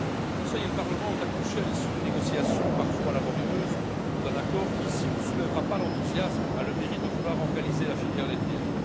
Le Conseil et le Parlement ont accouché, à l'issue de négociations parfois laborieuses, d'un accord qui, s'il ne soulèvera pas l'enthousiasme, a le mérite de vouloir organiser la filière laitière.